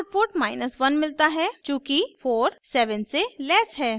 हमें आउटपुट 1 मिलता है चूँकि 47 से लेस है